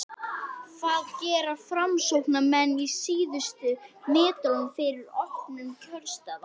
hvað gera framsóknarmenn á síðustu metrunum fyrir opnun kjörstaða?